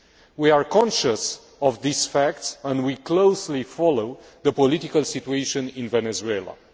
We are conscious of these facts and we are closely following the political situation in Venezuela.